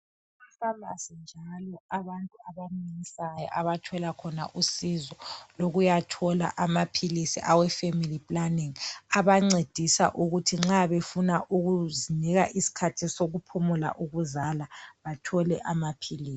E pharmacy njalo abantu abamunyisayo abathola khona usizo lokuyathola amaphilisi awe family planning abancedisa ukuthi nxa befuna ukuzinika isikhathi sokuphumula ukuzala bathole amaphilisi.